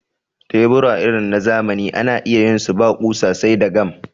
tebura irin na zamani ana iya yin su ba ƙusa sai dai gam